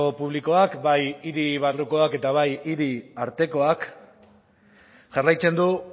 publikoak bai hiri barrukoak eta bai hiri artekoak jarraitzen du